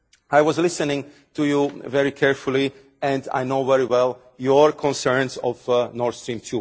I was listening to you very carefully and I know very well your concerns on Nord Stream